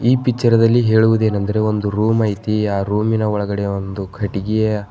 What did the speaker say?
ಈ ಪಿಚ್ಚರದಲ್ಲಿ ಹೇಳುವುದೇನೆಂದರೆ ಒಂದು ರೂಮ್ ಐತಿ ಆ ರೂಮಿನ ಒಳಗಡೆ ಒಂದು ಕಟ್ಟಿಗೆಯ --